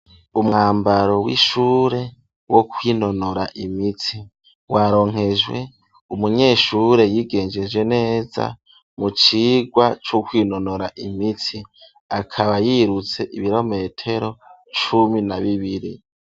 Umwambaro w'ishure wo kwinonora imitsi waronkejwe umunyeshure yigengejeje neza mu cigwa c'ukwinonora imitsi, akaba yirutse ibirometero cumi na bibiri.